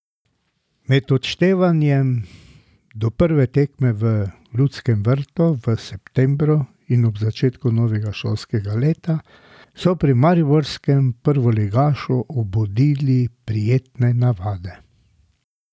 Med odštevanjem do prve tekme v Ljudskem vrtu v septembru in ob začetku novega šolskega leta so pri mariborskem prvoligašu obudili prijetne navade.